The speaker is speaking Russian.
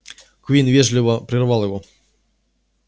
куинн вежливо прервал его